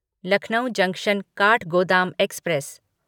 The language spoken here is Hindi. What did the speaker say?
Lucknow junction Kathgodam express